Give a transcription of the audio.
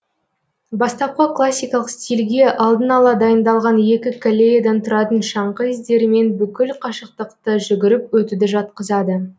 бастапқы классикалық стилге алдын ала дайындалған екі коллеядан тұратын шаңғы іздерімен бүкіл қашықтықты жүгіріп өтуді жатқызады